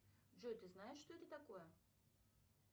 джой ты знаешь что это такое